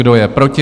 Kdo je proti?